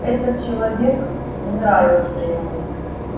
этот человек не нравился ему